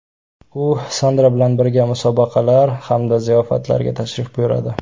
U Sandra bilan birga musobaqalar hamda ziyofatlarga tashrif buyuradi.